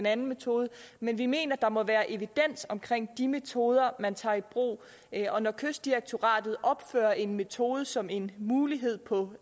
anden metode men vi mener der må være evidens omkring de metoder man tager i brug og når kystdirektoratet opfører en metode som en mulighed på